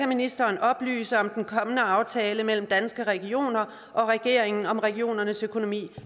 ministeren oplyse om den kommende aftale mellem danske regioner og regeringen om regionernes økonomi